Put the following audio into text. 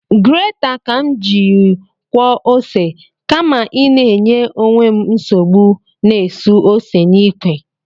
Greta ka m jiri kwọọ ose, kama ịna inye onwe m nsogbu na-esu ose n’ikwe